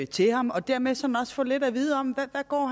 til ham og dermed sådan også få lidt at vide om hvad